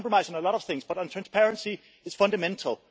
You can compromise on a lot of things, but transparency is fundamental.